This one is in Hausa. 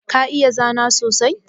Ka iya zana sosai?